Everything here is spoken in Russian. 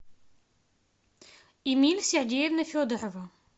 эмиль сергеевна федорова